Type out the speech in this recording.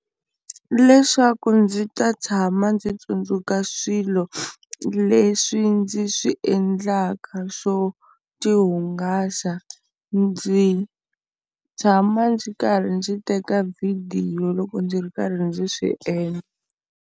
Leswaku ndzi ta tshama ndzi tsundzuka swilo leswi ndzi swi endlaka swo ti hungasa ndzi tshama ndzi karhi ndzi teka vhidiyo loko ndzi ri karhi ndzi swi endla.